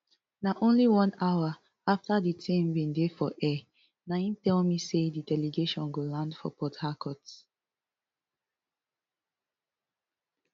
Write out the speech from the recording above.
na only one hour afta di team bin dey for air na im tell me say di delegation go land for port harcourt